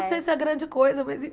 Né Não sei se é a grande coisa, mas